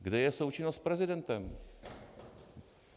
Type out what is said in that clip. Kde je součinnost s prezidentem?